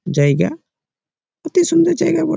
জাইগা অতি সুন্দর জায়গা ব--